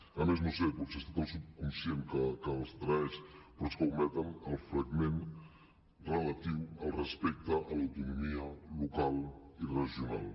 a més no ho sé potser ha estat el subconscient que els traeix però és que ometen el fragment relatiu al respecte a l’autonomia local i regional